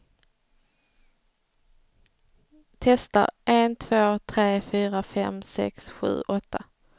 Testar en två tre fyra fem sex sju åtta.